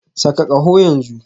Saka kaho yanzu